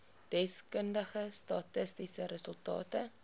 deskundige statistiese resultate